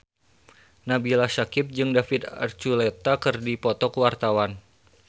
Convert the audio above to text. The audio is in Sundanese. Nabila Syakieb jeung David Archuletta keur dipoto ku wartawan